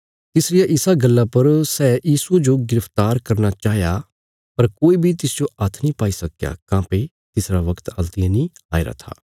तिसरिया इसा गल्ला पर सै यीशुये जो गिरफ्तार करना चाहया पर कोई बी तिसजो हात्थ नीं पाई सक्कया काँह्भई तिसरा बगत हल्तियें नीं आईरा था